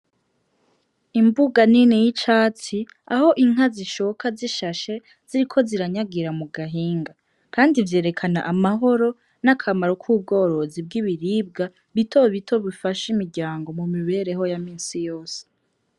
Imbuga nini y'icatsi aho inka zishoka zishashe ziriko nyagira mu gahinga kandi vyerekana amahoro nakamaro ku bworozi bwibiribwa bito bito bifasha imiryango mu mibereho ya minsi yose.